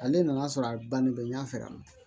Ale nan'a sɔrɔ a bannen bɛ n ɲ'a fɛ yan nɔ